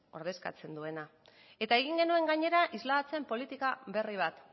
ordezkatzen duena eta egin genuen gainera isladatzen politika berri bat